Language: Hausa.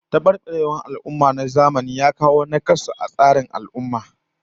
Tabarbarewar tarbiyya na zamani ya kawo nakasu ga tsarin kaso na al'ummah